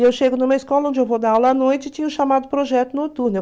E eu chego numa escola onde eu vou dar aula à noite e tinha o chamado projeto noturno.